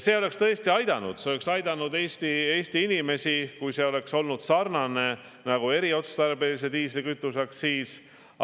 See oleks tõesti aidanud Eesti inimesi, kui see oleks olnud sarnane nagu eriotstarbelise diislikütuse aktsiis.